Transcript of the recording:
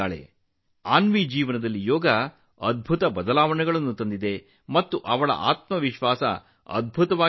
ಯೋಗವು ಅನ್ವಿಯ ಜೀವನದಲ್ಲಿ ಅದ್ಭುತ ಬದಲಾವಣೆಗಳನ್ನು ತಂದಿದೆ ಎಂದು ಅನ್ವಿಯ ಪೋಷಕರು ನನಗೆ ಹೇಳಿದರು